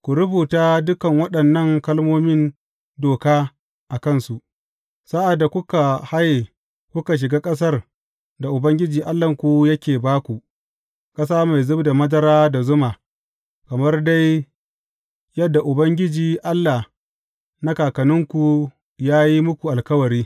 Ku rubuta dukan waɗannan kalmomin doka a kansu, sa’ad da kuka haye kuka shiga ƙasar da Ubangiji Allahnku yake ba ku, ƙasa mai zub da madara da zuma, kamar dai yadda Ubangiji Allah na kakanninku, ya yi muku alkawari.